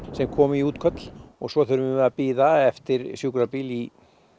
sem koma í útköll svo þurfum við að bíða eftir sjúkrabíl í